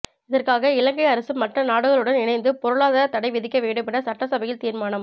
இதற்காக இலங்கை அரசு மற்ற நாடுகளுடன் இணைந்து பொருளாதார தடை விதிக்க வேண்டும் என சட்டசபையில் தீர்மானம்